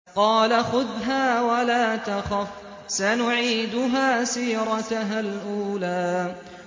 قَالَ خُذْهَا وَلَا تَخَفْ ۖ سَنُعِيدُهَا سِيرَتَهَا الْأُولَىٰ